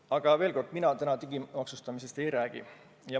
Aga veel kord: mina täna digimaksustamisest ei räägi.